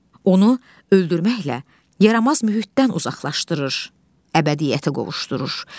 Onu öldürməklə yaramaz mühitdən uzaqlaşdırır, əbədiyyətə qovuşdurur.